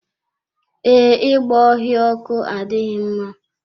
Ee, ịgba ọhịa ọkụ adịghị mma.